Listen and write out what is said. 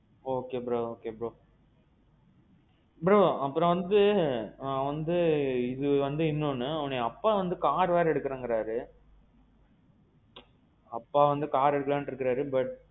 okay bro okay bro. bro, அப்பறோம் வந்து வந்து இது வந்து இன்னொன்னு வந்து அப்பா வந்து car வேற எடுக்கணும்ங்குறாரு. அப்பா வந்து car எடுக்கலாம்னு இருக்காரு, but